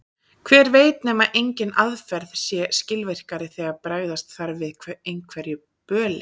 Hver veit nema engin aðferð sé skilvirkari þegar bregðast þarf við einhverju böli.